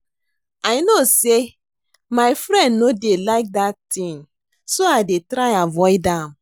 I no say my friend no dey like dat thing so I dey try avoid am